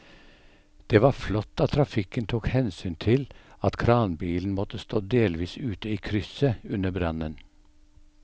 Det var flott at trafikken tok hensyn til at kranbilen måtte stå delvis ute i krysset under brannen.